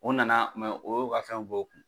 O nana o y'o ka fɛnw bɔ o kun.